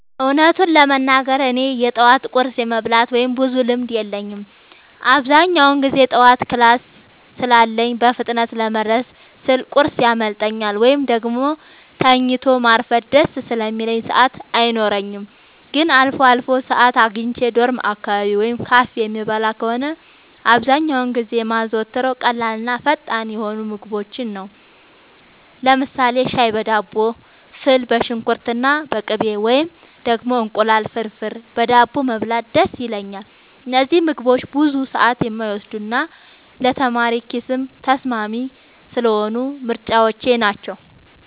እውነቱን ለመናገር እኔ የጠዋት ቁርስ የመብላት ብዙም ልምድ የለኝም። አብዛኛውን ጊዜ ጠዋት ክላስ ስላለኝ በፍጥነት ለመድረስ ስል ቁርስ ያመልጠኛል፤ ወይም ደግሞ ተኝቶ ማርፈድ ደስ ስለሚለኝ ሰዓት አይኖረኝም። ግን አልፎ አልፎ ሰዓት አግኝቼ ዶርም አካባቢ ወይም ካፌ የምበላ ከሆነ፣ አብዛኛውን ጊዜ የማዘወትረው ቀላልና ፈጣን የሆኑ ምግቦችን ነው። ለምሳሌ ሻይ በዳቦ፣ ፉል በሽንኩርትና በቅቤ፣ ወይም ደግሞ እንቁላል ፍርፍር በዳቦ መብላት ደስ ይለኛል። እነዚህ ምግቦች ብዙ ሰዓት የማይወስዱና ለተማሪ ኪስም ተስማሚ ስለሆኑ ምርጫዎቼ ናቸው።